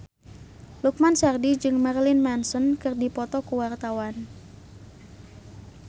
Lukman Sardi jeung Marilyn Manson keur dipoto ku wartawan